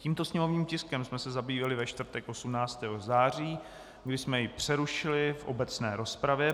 Tímto sněmovním tiskem jsme se zabývali ve čtvrtek 18. září, kdy jsme jej přerušili v obecné rozpravě.